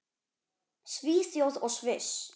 Svíþjóð og Sviss.